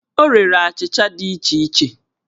O rere achịcha dị iche iche